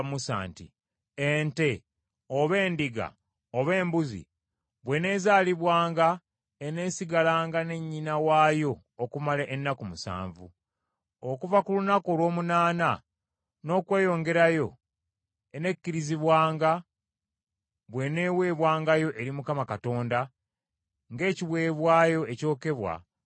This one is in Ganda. “Ente, oba endiga, oba embuzi bw’eneezaalibwanga eneesigalanga ne nnyina waayo okumala ennaku musanvu. Okuva ku lunaku olw’omunaana n’okweyongerayo ennekkirizibwanga bw’eneeweebwangayo eri Mukama Katonda ng’ekiweebwayo ekyokebwa mu muliro.